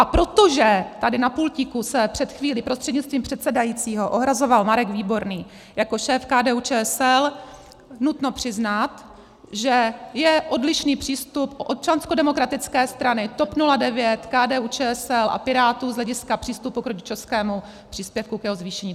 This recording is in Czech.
A protože tady na pultíku se před chvílí prostřednictvím předsedajícího ohrazoval Marek Výborný jako šéf KDU-ČSL, nutno přiznat, že je odlišný přístup Občanskodemokratické strany, TOP 09, KDU-ČSL a Pirátů z hlediska přístupu k rodičovskému příspěvku, k jeho zvýšení.